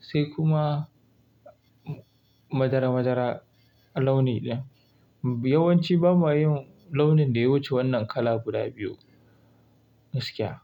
sai kuma madara madara a launi ɗin. Yawan ci ba ma yin launin da ya wuce wannan kala guda biyu gaskiya.